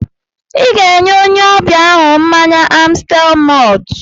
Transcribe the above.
Ị ga-enye onye ọbịa ahụ mmanya Amstel mọlt